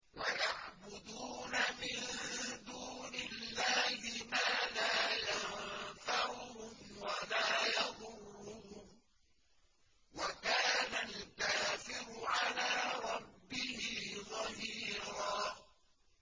وَيَعْبُدُونَ مِن دُونِ اللَّهِ مَا لَا يَنفَعُهُمْ وَلَا يَضُرُّهُمْ ۗ وَكَانَ الْكَافِرُ عَلَىٰ رَبِّهِ ظَهِيرًا